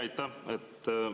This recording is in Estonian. Aitäh!